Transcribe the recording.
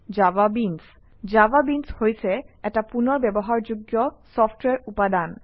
JavaBeans JavaBeans হৈছে এটা পুনৰ ব্যৱহাৰযোগ্য চফট্ৱেৰ উপাদান